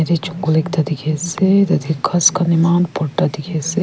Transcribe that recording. ede jongol ekta dikhe ase tade ghas khan eman borta dikhe ase.